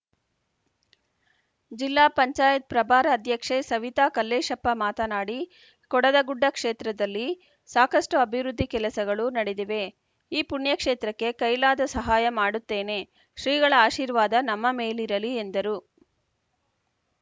ಜಿಲ್ಲಾ ಪಂಚಾಯತ್ ಪ್ರಭಾರ ಅಧ್ಯಕ್ಷೆ ಸವಿತಾ ಕಲ್ಲೇಶಪ್ಪ ಮಾತನಾಡಿ ಕೊಡದಗುಡ್ಡ ಕ್ಷೇತ್ರದಲ್ಲಿ ಸಾಕಷ್ಟುಅಭಿವೃದ್ದಿ ಕೆಲಸಗಳು ನಡೆದಿವೆ ಈ ಪುಣ್ಯ ಕ್ಷೇತ್ರಕ್ಕೆ ಕೈಲಾದ ಸಹಾಯ ಮಾಡುತ್ತೇನೆ ಶ್ರೀಗಳ ಆಶೀರ್ವಾದ ನಮ್ಮ ಮೇಲಿರಲಿ ಎಂದರು